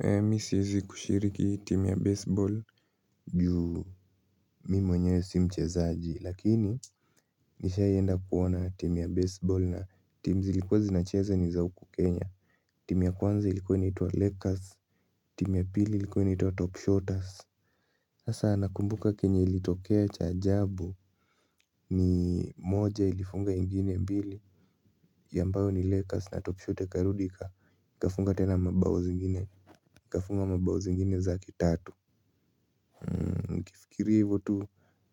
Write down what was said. Mimi siwezi kushiriki timu ya baseball juu mimi mwenyewe si mchezaji lakini nishawahi enda kuona timu ya baseball na timu zilikuwa zinacheza ni za huku kenya. Timu ya kwanza ilikuwa inaitwa lakers timu ya pili ilikuwa inaitwa top shottas. Hasa nakumbuka chenye ilitokea cha ajabu ni moja ilifunga ingine mbili ambayo ni lakers na top shotta ikarudi ikafunga tena mabao zingine. Ikafunga mabao zingine zake tatu. Nikifikiri hivyo tu